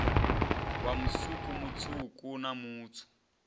wa musuku mutswuku na mutswu